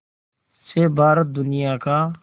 से भारत दुनिया का